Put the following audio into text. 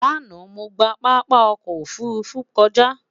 lànà, mọ gbà pápá ọkọ òfurufú kọja